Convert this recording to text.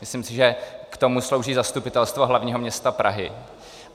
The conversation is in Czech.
Myslím si, že k tomu slouží Zastupitelstvo hlavního města Prahy.